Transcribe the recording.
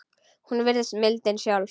Hún virðist mildin sjálf.